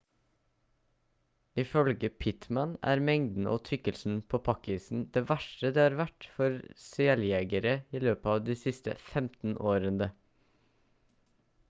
ifølge pittman er mengden og tykkelsen på pakk-isen det verste det har vært for seljegere i løpet av de siste 15 årene